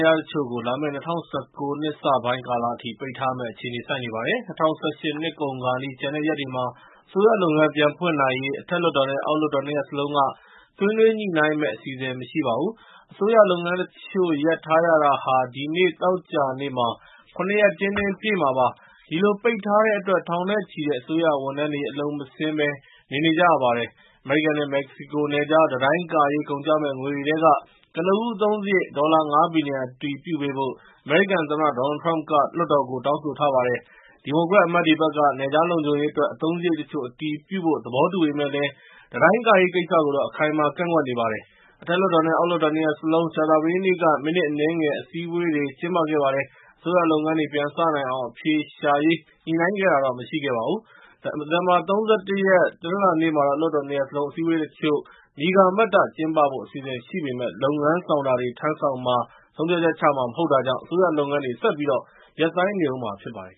ရားတချို့ကိုလာမယ့် ၂၀၁၉ နှစ်စ ပိုင်းကာလအထိ ပိတ်ထားရမယ့်အခြေအနေ ဆိုက်နေပါတယ်။ ၂၀၁၈ နှစ်ကုန်ခါနီး ကျန်တဲ့ ရက်တွေမှာ အစိုးရလုပ်ငန်း ပြန်ဖွင့်နိုင်ရေး အထက်လွှတ်တော်နဲ့ အောက်လွှတ်တော်နှစ်ရပ်စလုံးက ဆွေးနွေးညှိ့နိုင်းမယ့် အစီအစဉ် မရှိပါဘူး။ အစိုးရလုပ်ငန်းတချို့ရပ်ထားရတာဟာ ဒီနေ့ သောကြာနေ့မှာ ရ ရက် တင်းတင်းပြည့်မှာပါ။ ဒီလို ပိတ်ထားတဲ့အတွက် ထောင်နဲ့ချီတဲ့ အစိုးရဝန်ထမ်းတွေ အလုပ်မဆင်းဘဲ နေနေကြရပါတယ်။ အမေရိကန်နဲ့ မက္ကဆီကိုနယ်ခြား တံတိုင်းကာရေး ကုန်ကျမယ့် ငွေတွေထဲက ကနဦး အသုံးစရိတ် ဒေါ်လာ ၅ ဘီလျံ အတည်ပြုပေးဖို့ အမေရိကန်သမ္မတ Donald Trump က လွှတ်တော်ကို တောင်းဆိုထားပါတယ်။ ဒီမိုကရက်အမတ်တွေဘက်က နယ်ခြားလုံခြုံရေးအတွက် အသုံးစရိတ်တချို့ အတည်ပြုဖို့ သဘောတူပေမယ့်လည်း တံတိုင်းကာရေးကိစ္စကို အခိုင်အမာ ကန့်ကွက်နေပါတယ်။ အထက်လွှတ်တော်နဲ့ အောက် လွှတ်တော် နှစ်ရပ်စလုံး ကြာသာပတေးနေ့က မိနစ်အနည်းငယ် အစည်းအဝေးတွေကျင်းပခဲ့ပါတယ်။ အစိုးရလုပ်ငန်းတွေ ပြန်စနိုင်အောင် အဖြေရှာရေး ညှိ့နိုင်းခဲ့တာတော့မရှိပါဘူး။ ဒီဇင်ဘာ ၃၁ ရက်နေ့ တနလာၤနေ့မှာ လွှတ်တော်နှစ်ရပ်စလုံး အစည်းအဝေးတချို့ မြည်ကာမတ္တ ကျင်းပဖို့ အစီအစဉ်ရှိပေမယ့် လုပ်ငန်းဆောင်တာတွေ ထမ်းဆောင်မှာ၊ ဆုံးဖြတ်ချက်ချမှာ မဟုတ်တာကြောင့် အစိုးရလုပ်ငန်းတွေ ဆက်ပြီးရပ်ဆိုင်းနေအုံးမှာဖြစ်ပါတယ်